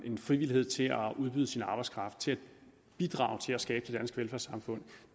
en frivillighed til at udbyde sin arbejdskraft til at bidrage til at skabe det danske velfærdssamfund